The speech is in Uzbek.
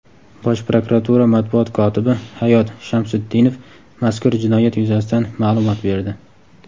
Bosh prokuratura Matbuot kotibi Hayot Shamsutdinov mazkur jinoyat yuzasidan ma’lumot berdi.